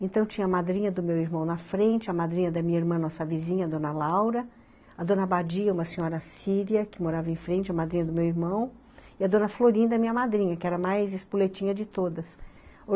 Então tinha a madrinha do meu irmão na frente, a madrinha da minha irmã, nossa vizinha, a dona Laura, a dona Badia, uma senhora síria, que morava em frente, a madrinha do meu irmão, e a dona Florinda, minha madrinha, que era a mais espuletinha de todas.